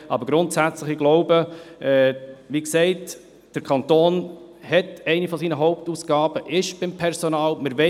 Aber grundsätzlich glaube ich, wie gesagt, dass eine der Hauptausgaben des Kantons beim Personal liegt.